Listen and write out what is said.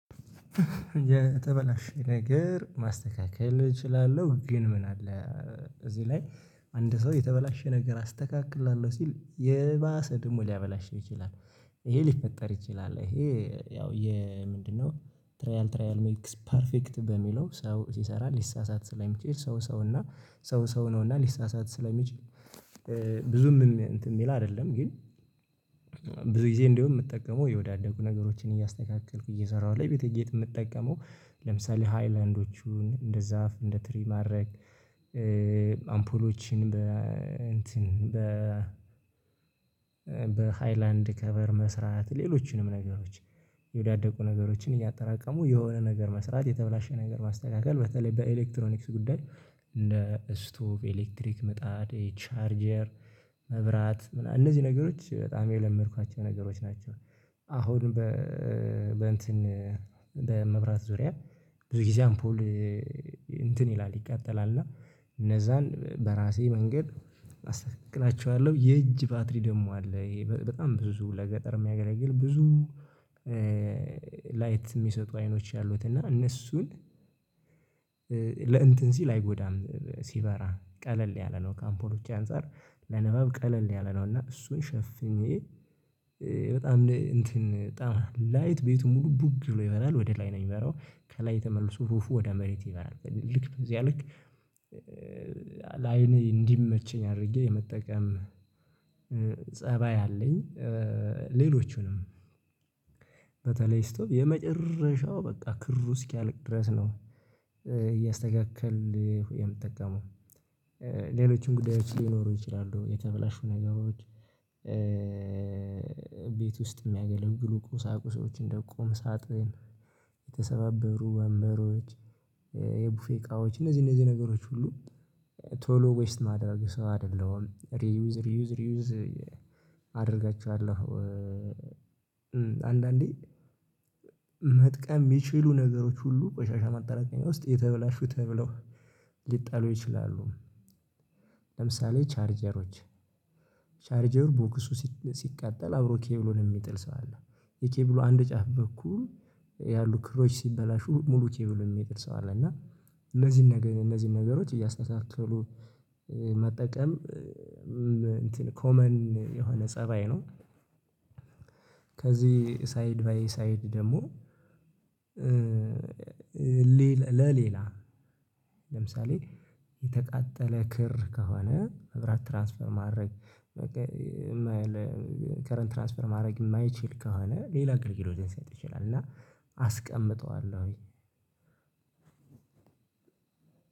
የተበላሸ ነገር ማስተካከል እችላለሁ ግን ምን አለ እዚህ ላይ አንድ ሰው የተበላሸ ነገር አስተካክላለሁ ሲል የባሰ ደግሞ ሊያበላሸው ይችላል። ይሄ ሊፈጠር ይችላል ይሄ ያው የምንድነው ትሪያል ትሪያል ሜክስ ፐርፌክት በሚለው ሰው ሲሰራ ሊሳሳት ስለሚችል ሰው ሰው እና ሰው ሰው ነው እና ሊሳሳት ስለሚችል። ብዙም እምም እንትን የሚል አይደለም ግን ብዙ ጊዜ እንደውም የምጠቀመው የወዳደቁ ነገሮችን እያስተካከልኩ እየሰራሁ ለ ቤቴጌጥ የምጠቀመው ለምሳሌ ሃይላንዶቹን እንደ ዛፍ እንደ ትሪ ማድረግ አምፖሎችን በ እንትን በ በሃይላንድ ከቨር መስራት ሌሎችንም ነገሮች የወዳደቁ ነገሮችን እያጠራቀሙ የሆነ ነገር መስራት የተበላሸ ነገር ማስተካከል በተለይ በኤሌክትሮኒክስ ጉዳይ እንደ ስቶቭ ኤሌክትሪክ ምጣድ ይኼ ቻርጀር መብራት ምና እነዚህ ነገሮች በጣም የለመድኳቸው ነገሮች ናቸው። አሁን በ በእንትን በመብራት ዙሪያ ብዙ ጊዜ አምፖል እንትን ይላል ይቃጠላል እና እነዛን በራሴ መንገድ አስተካክላቼዋለሁ የእጅ ባትሪ ደግሞ አለ ይኼ በጣም ብዙ ለገጠር የሚያገለግል ብዙ ላይት የሚሰጡ አይኖች ያሉት እና እነሱን ለእንትን ሲል አይጎዳም ሲበራ ቀለል ያለ ነው ከአምፖሎች አንፃር ለንባብ ቀለል ያለ ነው እና እሱን ሸፍኜ በጣም እንትን በጣም ላይት ቤቱን ሙሉ ቡግ ብሎ ይበራል ወደ ላይ ነው የሚበራው ከላይ ተመልሶ ሩፉ ወደ መሬት ይበራል ልክ በዚያ ልክ ለአይን እንዲመቸኝ አድርጌ የመጠቀም ፀባይ አለኝ። ሌሎቹንም ስቶቭ የመጨረሻው በቃ ክሩ እስኪያልቅ ድረስ ነው እያስተካከልሁ የምጠቀመው። ሌሎችም ጉዳዮች ሊኖሩ ይችላሉ የተበላሹ ነገሮች ቤት ውስጥ የሚያገለግሉ ቁሳቁሶችን እንዲቀም ሳጥን የተሰባበሩ ወንበሮች የቡፌ እቃዎች እነዚህ እነዚህ ነገሮች ሁሉ ቶሎ ዌስት የማደረግ ሰው አይደለሁም ሪዩዝ ሪዩዝ ሪዩዝ አደርጋቸዋለሁ። አንዳንዴ መጥቀም የሚችሉ ነገሮች ሁሉ ቆሻሻ ማጠራቀሚያ ውስጥ የተበላሹ ተብለው ሊጣሉ ይችላሉ። ለምሳሌ ቻርጀሮች ቻርጀር ቦክሱ ሲቃጠል አብሮ ኬብሉን የሚጥል ሰው አለ የኬብሉ አንድ ጫፍ በኩል ያሉ ክሮች ሲበላሹ ሙሉ ኬብሉን የሚጥል ሰው አለ እና እነዚህን እነዚህን ነገሮች እያስተካከሉ መጠቀም እንትን ኮመን የሆነ ፀባዬ ነው። ከዚህ ሳይድ ባይ ሳይድ ደግሞ ሌ ለሌላ ለምሳሌ የተቃጠለ ክር ከሆነ መብራት ትራንስፈር ማድረግ በቃ መለ ከረንት ትራንስፈር ማድረግ የማይችል ከሆነ ሌላ አገልግሎት ሊሰጥ ይችላል። እና አስቀምጠዋለሁኝ።